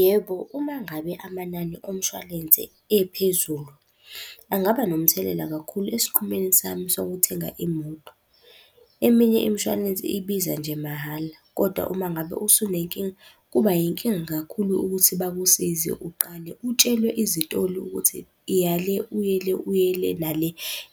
Yebo, uma ngabe amanani omshwalense ephezulu, angaba nomthelela kakhulu esinqumeni sami sokuthenga imoto. Eminye imishwalensi ibiza nje mahhala, kodwa uma ngabe usunenkinga kuba yinkinga kakhulu ukuthi bakusize uqale utshelwe izitoli ukuthi iya le uye le uye le nale.